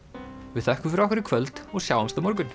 við þökkum fyrir okkur í kvöld og sjáumst á morgun